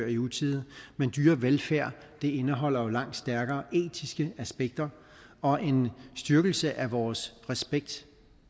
i utide men dyrevelfærd indeholder jo langt stærkere etiske aspekter og en styrkelse af vores respekt